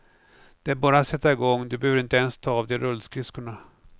Det är bara att sätta igång, du behöver inte ens ta av dig rullskridskorna.